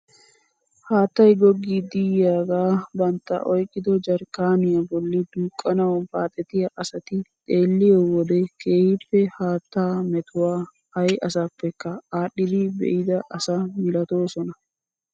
Haattay goggidi yiyaagaa bantta oyqqido jarkkaaniyaa bolli duuqqanawu baaxettiyaa asati xeelliyoo wode keehippe haattaa metuwaa ayi asapekka aadhdhidi be'ida asa milatoosona!